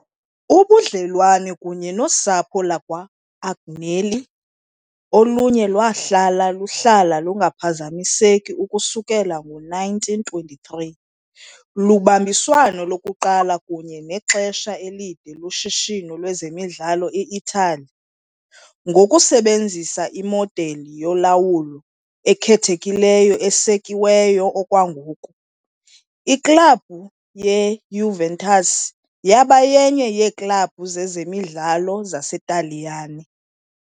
Ubudlelwane kunye nosapho lwakwa-Agnelli, oluye lwahlala luhlala lungaphazamiseki ukususela ngo-1923, lubambiswano lokuqala kunye nexesha elide loshishino lwezemidlalo e-Italy, ngokusebenzisa imodeli yolawulo ekhethekileyo esekiweyo okwangoku, iklabhu yeJuventus yaba yenye yeeklabhu zezemidlalo zaseTaliyane